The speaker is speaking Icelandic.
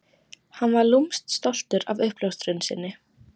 Hann var lúmskt stoltur af uppljóstrun sinni.